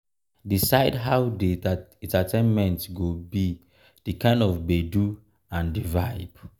decide how di entertainment go be di kind of gbedu and di vibe